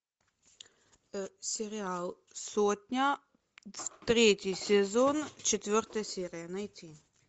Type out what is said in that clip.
сериал сотня третий сезон четвертая серия найти